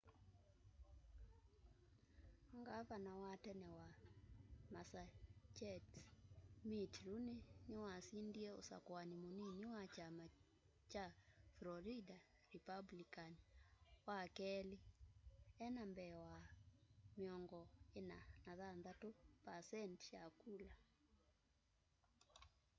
gavana wa tene wa massachusetts mitt romney niwasindie usakuani munini wa kyama kya florida republican wakeli enda mbee wa 46 percenti ya kula